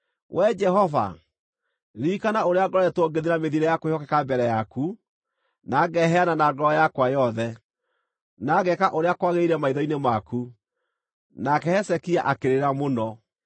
“Wee Jehova, ririkana ũrĩa ngoretwo ngĩthiĩ na mĩthiĩre ya kwĩhokeka mbere yaku, na ngeheana na ngoro yakwa yothe, na ngeeka ũrĩa kwagĩrĩire maitho-inĩ maku.” Nake Hezekia akĩrĩra mũno.